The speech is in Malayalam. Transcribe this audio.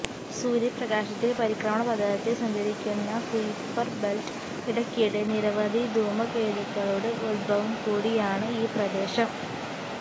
സൂര്യപ്രകാശത്തിൽ പരിക്രമണപഥത്തിൽ സഞ്ചരിക്കുന്ന കുയിപ്പർ ബെൽറ്റ് ഇടയ്ക്കിടെ നിരവധി ധൂമകേതുക്കളുടെ ഉത്ഭവം കൂടിയാണ് ഈ പ്രദേശം